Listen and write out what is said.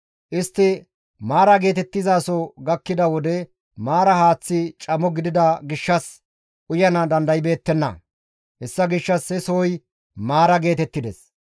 Istti Maara geetettizaso gakkida wode Maara haaththi camo gidida gishshas uyana dandaybeettenna; hessa gishshas he sohoy Maara geetettides.